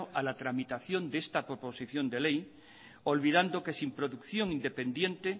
a la tramitación de esta proposición de ley olvidando que sin producción independiente